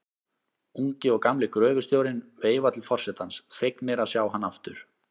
Ungi og gamli gröfustjórinn veifa til forsetans, fegnir að sjá hann aftur.